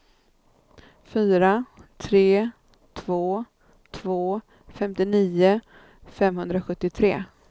fyra tre två två femtionio femhundrasjuttiotre